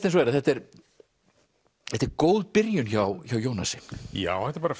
eins og er að þetta er þetta er góð byrjun hjá hjá Jónasi já þetta er bara